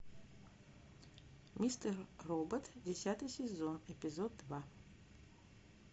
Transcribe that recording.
мистер робот десятый сезон эпизод два